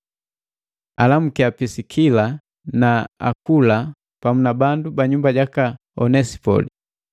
Alamukiya Pisikila na Akula, pamu na bandu ba nyumba jaka Onesipoli.